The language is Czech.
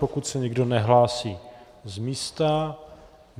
Pokud se nikdo nehlásí z místa...